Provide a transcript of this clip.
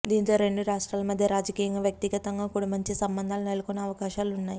దీంతో రెండు రాష్ట్ట్రాల మధ్య రాజకీయంగా వ్యక్తిగతంగా కూడ మంచి సంబంధాలు నెలకొనే అవకాశలు ఉన్నాయి